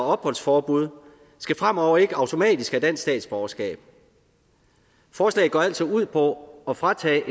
og opholdsforbud skal fremover ikke automatisk have dansk statsborgerskab forslaget går altså ud på at fratage